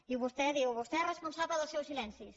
i vostè diu vostè és responsable dels seus silencis